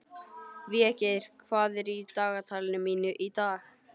Végeir, hvað er í dagatalinu mínu í dag?